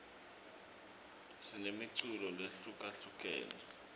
sinemiculo lehlukahlukene